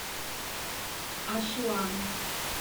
асуан